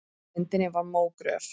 Á myndinni var mógröf.